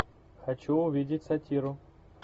хочу увидеть сатиру